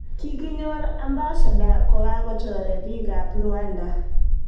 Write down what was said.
Kikinyor Ambassada kokachoree piik ab Rwanda